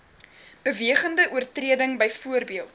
bewegende oortreding byvoorbeeld